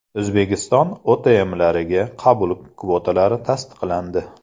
O‘zbekiston OTMlariga qabul kvotalari tasdiqlandi.